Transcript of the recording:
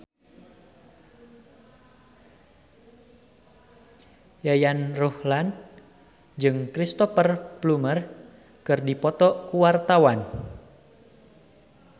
Yayan Ruhlan jeung Cristhoper Plumer keur dipoto ku wartawan